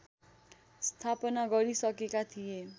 स्थापना गरिसकेका थिए